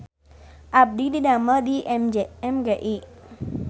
Abdi didamel di MGI